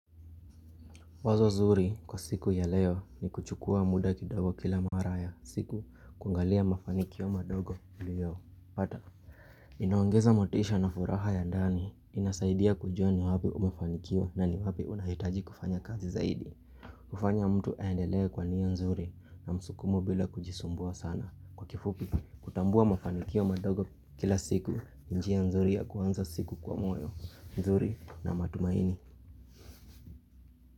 Wazo zuri kwa siku ya leo ni kuchukua muda kidogo kila mara ya siku kungalia mafanikio madogo ndio. Pata. Inaongeza motisha na furaha ya ndani, inasaidia kujua ni wapi umefanikiwa na ni wapi unahitaji kufanya kazi zaidi. Hufanya mtu aendelee kwa nia nzuri na msukumo bila kujisumbua sana. Kwa kifupi, kutambua mafanikio madogo kila siku, ni njia nzuri ya kuanza siku kwa moyo nzuri na matumaini.